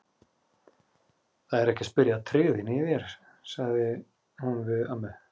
Það er ekki að spyrja að tryggðinni í þér, sagði hún við ömmu.